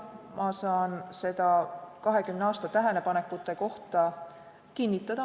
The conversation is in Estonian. Saan seda kinnitada 20 aasta tähelepanekute pinnalt.